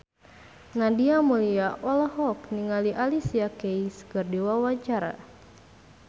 Nadia Mulya olohok ningali Alicia Keys keur diwawancara